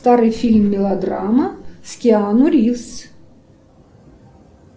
старый фильм мелодрама с киану ривз